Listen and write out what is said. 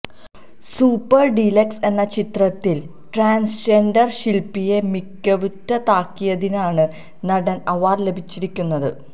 super deluxe എന്ന ചിത്രത്തില് transgender ശില്പ്പയെ മികവുറ്റതാക്കിയതിനാണ് നടന് അവാര്ഡ് ലഭിച്ചിരിക്കുന്നത്